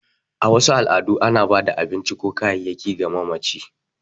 A wasu al’adu, ana ba da abinci ko kayayyaki ga mamaci.